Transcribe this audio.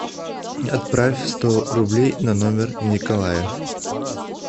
отправь сто рублей на номер николая